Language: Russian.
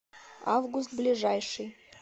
август ближайший